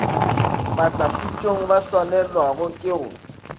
batlapitšong ba swanelwago ke go